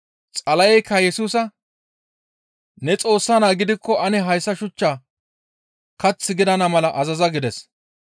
Xala7eykka Yesusa, «Ne Xoossa naa gidikko ane hayssa shuchchaa kath gidana mala azaza» gides.